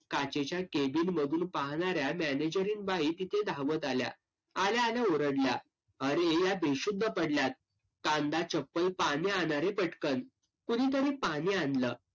काचेच्या cabin मधील पाहणाऱ्या मॅनेजरीन बाई तिथे धावत आल्या. आल्या आल्या ओरडल्या. अरे या बेशुद्ध पडल्यात, कांदा, चप्पल, पाणी आणा रे पटकन. कुणीतरी पाणी आणलं.